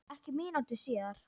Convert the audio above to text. Ekki mínútu síðar